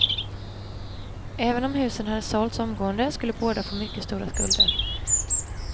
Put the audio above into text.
Även om huset hade sålts omgående skulle båda fått mycket stora skulder.